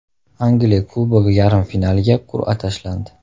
Angliya Kubogi yarim finaliga qur’a tashlandi.